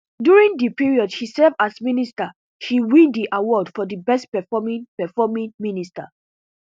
during di period she serve as minister she win di award for di best performing performing minister